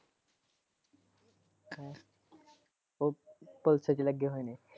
ਉਹ police ਚ ਲਗੇ ਹੋਏ ਨੇ।